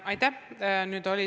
Aitäh!